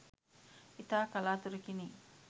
ඉතා කලාතුරකිනි